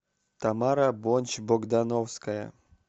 тамара бончбогдановская